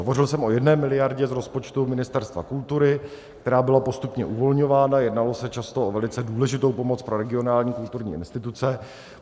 Hovořil jsem o 1 miliardě z rozpočtu Ministerstva kultury, která byla postupně uvolňována, jednalo se často o velice důležitou pomoc pro regionální kulturní instituce.